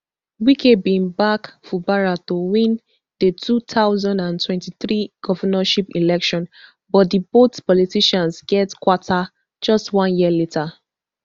wike bin back fubara to win di two thousand and twenty-three governorship election but di both politicians get kwanta just one year later